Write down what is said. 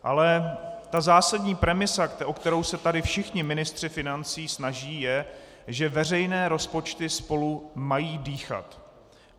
Ale ta zásadní premisa, o kterou se tady všichni ministři financí snaží, je, že veřejné rozpočty spolu mají dýchat.